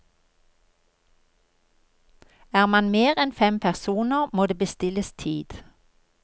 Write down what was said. Er man mer enn fem personer, må det bestilles tid.